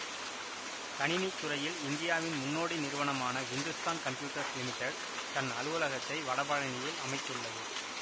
கணினித்துறையில் இந்தியாவின் முன்னோடி நிறுவனமான ஹிந்துஸ்தான் கம்ப்யூட்டர்ஸ் லிமிட்டட் தன் அலுவலகத்தை வடபழநியில் அமைத்துள்ளது